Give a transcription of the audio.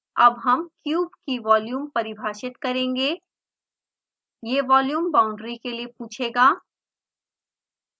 अब हम क्यूब की वॉल्यूम परिभाषित करेंगे यह volume बाउंड्री के लिए पूछेगा